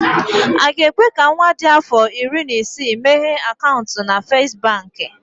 Aga ekwe ka nwa dị afọ iri na isii meghee akaụntụ na First Baankị?